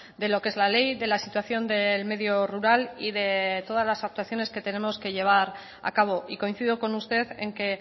de lo que es la ley de la situación del medio rural y de todas las actuaciones que tenemos que llevar a cabo y coincido con usted en que